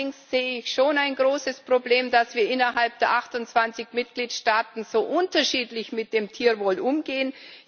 Allerdings sehe ich schon ein großes Problem darin, dass wir innerhalb der 28 Mitgliedstaaten so unterschiedlich mit dem Tierwohl umgehen.